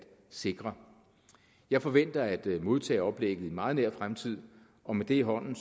sikre jeg forventer at modtage oplægget i meget nær fremtid og med det i hånden